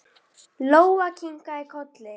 Lóa kinkaði kolli.